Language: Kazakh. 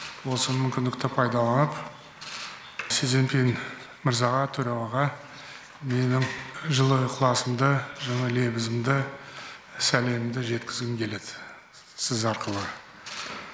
осы мүмкіндікті пайдаланып си цзиньпин мырзаға төрағаға менің жылы ықыласымды жылы лебізімді сәлемімді жеткізгім келеді сіз арқылы